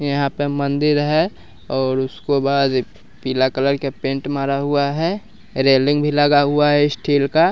यहां पे मंदिर है और उसको बस पीला कलर के पेंट मारा हुआ है रेलिंग भी लगा हुआ है स्टील का--